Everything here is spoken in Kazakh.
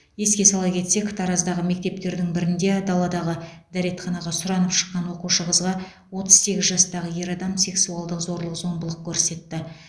еске сала кетсек тараздағы мектептердің бірінде даладағы дәретханаға сұранып шыққан оқушы қызға отыз сегіз жастағы ер адам сексуалдық зорлық зомбылық көрсетті